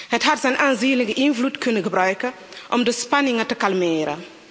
Het had zijn aanzienlijke invloed kunnen gebruiken om de spanningen te kalmeren.